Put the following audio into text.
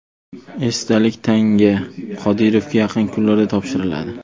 Esdalik tanga Qodirovga yaqin kunlarda topshiriladi.